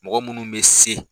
Mɔgɔ munnu bɛ se.